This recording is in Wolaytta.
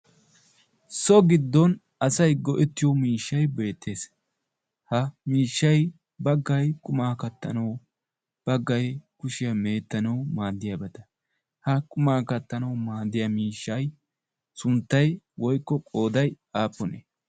so giddon asay go'ettiyo miishshay beettees. ha miishshay baggay qumaa kattanawu baggay kushiyaa meettanawu maaddiyaa bada ha qumaa kattanawu maaddiya miishshay sunttay woykko qooday aappunee?